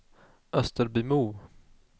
Österbymo